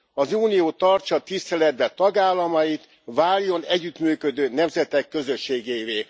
Az Unió tartsa tiszteletben tagállamait, váljon együttműködő nemzetek közösségévé.